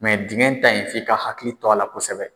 dingɛn ta in f'i ka hakili to a la kosɛbɛ.